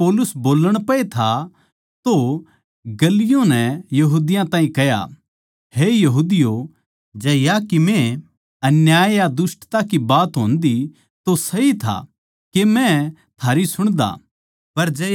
जिब पौलुस बोल्लण पैए था तो गल्लियो नै यहूदियाँ ताहीं कह्या हे यहूदियों जै या कीमे अन्याय या दुष्टता की बात होन्दी तो सही था के मै थारी सुणदा